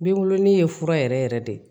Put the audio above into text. Binkurunin ye fura yɛrɛ yɛrɛ de